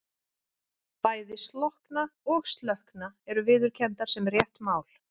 Bæði slokkna og slökkna eru viðurkenndar sem rétt mál.